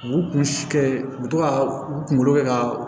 U kun si kɛ u bɛ to ka u kunkolo kɛ ka